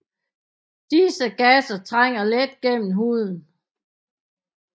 Disse gasser trænger let gennem huden